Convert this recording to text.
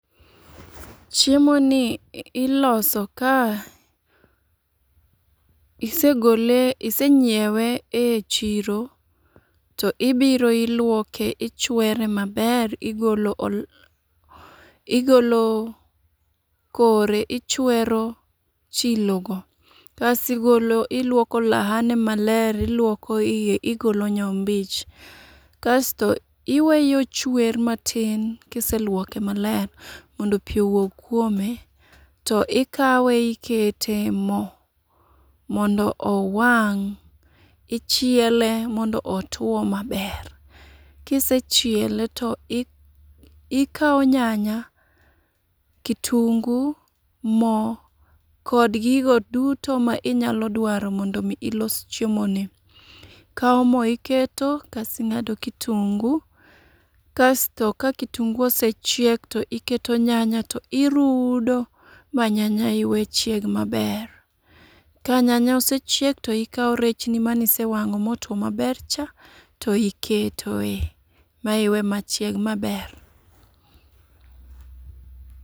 Chiemo ni iloso ka isegole isenyiewe e chiro, to ibiro ilwoke ichwere maber igolo ol igolo kore ichwero chilo go. Kasi golo ilwoko olaha ne maber ilwoko iye igolo nyombich. Kasto iweye ochwer matin kiselwoke maler mondo pi owuog kuome, to ikawe ikete mo mondo owang'. Ichiele mondo otuo maber, kise chiele to ikawo nyanya, kitungu, mo, kod gigo duto ma inyalo dwaro mondo mi ilos chiemo ni. Ikawo mo iketo kasing'ado kitungu, kasto ka kitungu osechiek to iketo nyanya to irudo ma nyanya iwe chieg maber. Ka nyanya osechiek to ikawo rechni manise wang'o ma otuo maber cha to iketoe ma iwe ochieg maber.